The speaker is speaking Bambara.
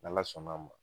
N' ala sɔnn'a ma